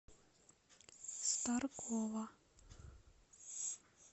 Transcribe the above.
старкова